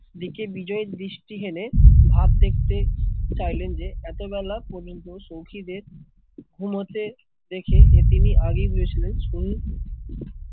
দিকে বিজয়ের দৃষ্টি হেনে ভাব দেখতে চাইলেন যে এতো বেলা পর্যন্ত সৌখীদের ঘুমাতে দেখে যে তিনি আগেই বুঝেছিলেন